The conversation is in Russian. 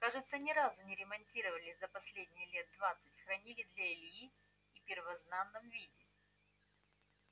кажется ни разу не ремонтировали за последние лет двадцать хранили для ильи и в первозданном виде